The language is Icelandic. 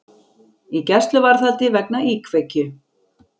Í gæsluvarðhaldi vegna íkveikju